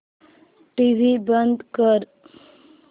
TV बंद कर